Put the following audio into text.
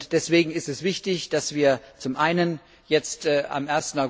Deswegen ist es wichtig, dass wir zum einen jetzt zum